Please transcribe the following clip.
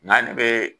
Nga ne bɛ